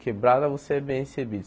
Quebrada você é bem recebido.